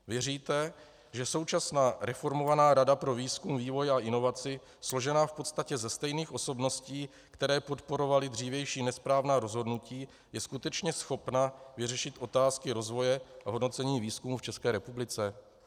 Věříte, že současná reformovaná Rada pro výzkum, vývoj a inovaci, složená v podstatě ze stejných osobností, které podporovaly dřívější nesprávná rozhodnutí, je skutečně schopna vyřešit otázky rozvoje v hodnocení výzkumu v České republice?